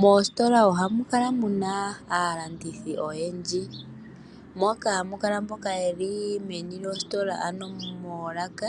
Moositola ohamu kala muna aalandithi oyendji. Ohamu kala muna mboka yeli moolaka